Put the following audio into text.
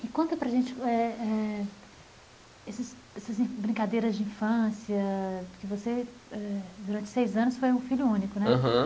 E conta para a gente eh eh, esses esses brincadeiras de infância, porque você eh, durante seis anos, foi um filho único, né? Aham